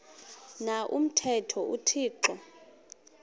na umthetho uthixo